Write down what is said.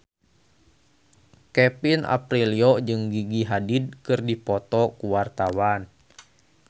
Kevin Aprilio jeung Gigi Hadid keur dipoto ku wartawan